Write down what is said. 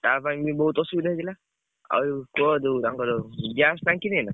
ତା ପାଇଁ ବି ବହୁତ ଅସୁବିଧା ହଉଥିଲା। ଆଉ ଯୋଉ ତାଙ୍କର gas ଟାଙ୍କି ନାହିଁ ନା?